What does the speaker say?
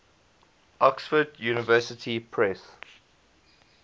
oxford university press